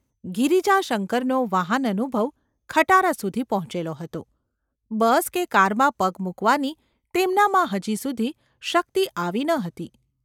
ગિરિજા શંકરનો વાહન અનુભવ ખટારા સુધી પહોંચેલો હતો; બસ કે કારમાં પગ મૂકવાની તેમનામાં હજી સુધી શક્તિ આવી ન હતી.